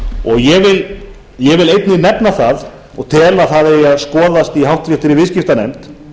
og ég vil einnig nefna það og tel að það eigi að skoðast í háttvirtri viðskiptanefnd